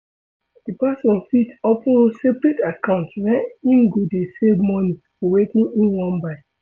Di person fit open separate account where im go dey save money for wetin im wan buy